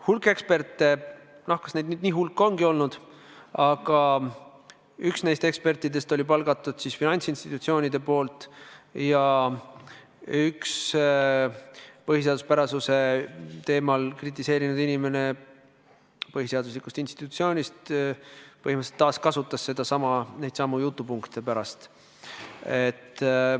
Hulk eksperte – noh, kas neid nüüd lausa hulk ikka on olnud –, aga üks neist ekspertidest oli palgatud finantsinstitutsioonide poolt ja üks põhiseaduspärasuse teemal kritiseerinud inimene põhiseaduslikust institutsioonist põhimõtteliselt taaskasutas neidsamu jutupunkte pärast.